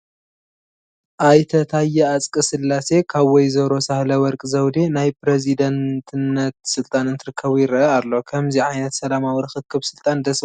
ኣይተ ታየ ኣፅቀስላሴ ካብ ወ/ሮ ሳህለወርቅ ዘውዴ ናይ ፕረዚዳንትነት ስልጣን እንትርከቡ ይርአ ኣሎ፡፡ ከምዚ ዓይነት ሰላማዊ ርኽኽብ ስልጣን ደስ በሃሊ እዩ፡፡